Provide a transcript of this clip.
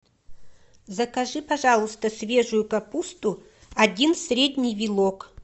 закажи пожалуйста свежую капусту один средний вилок